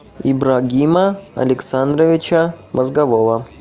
ибрагима александровича мозгового